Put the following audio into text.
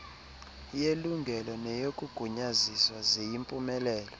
yelungelo neyokugunyaziswa ziyimpumelelo